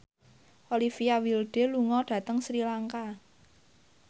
Olivia Wilde lunga dhateng Sri Lanka